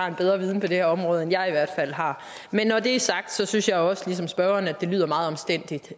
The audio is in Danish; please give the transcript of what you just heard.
en bedre viden på det her område end jeg i hvert fald har men når det er sagt synes jeg også ligesom spørgeren at det lyder meget omstændeligt